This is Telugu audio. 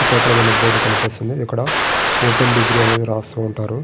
శ్రీకాకుళం అని బోర్డు కనిపిస్తుంది. ఇక్కడ ఓపెన్ డిగ్రీ అని రాస్తూ ఉంటారు.